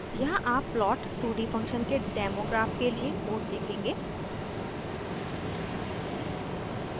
यहाँ आप plot two d function के डेमो ग्राफ के लिए कोड देखेंगे